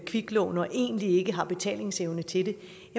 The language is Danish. kviklån og egentlig ikke har betalingsevnen til det